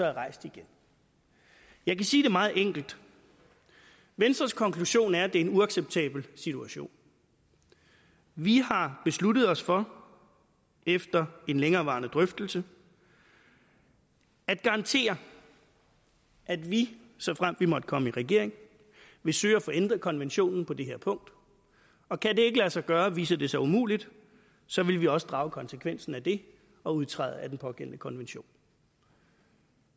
er rejst igen jeg kan sige det meget enkelt venstres konklusion er at det er en uacceptabel situation vi har besluttet os for efter en længerevarende drøftelse at garantere at vi såfremt vi måtte komme i regering vil søge at få ændret konventionen på det her punkt og kan det ikke lade sig gøre viser det sig umuligt så vil vi også drage konsekvensen af det og udtræde af den pågældende konvention